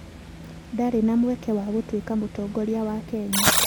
Ndarĩ na mweke wa gũtuĩka mũtongoria wa Kenya